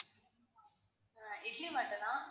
இட்லி மட்டும் தான்,